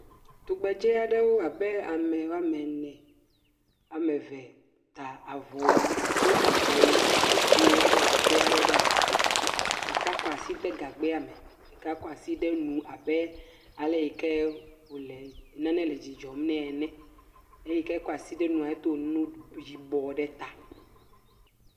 Tugbedze aɖewo abe ame woame ene, am eve ta avɔwu, do avɔwu, ye wokɔ gagbɛ aɖe ɖe asi, ɖeka kɔ asi de gagbɛa me, ɖeka kɔ asi de abe aleke wòle nane le dzi dzɔm nɛ ene, eyike kɔ asi de enua, edo nu yibɔ ɖe ta.